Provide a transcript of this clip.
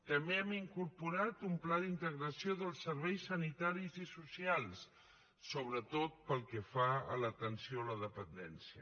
també hem incorporat un pla d’integració dels serveis sanitaris i socials sobretot pel que fa a l’atenció a la dependència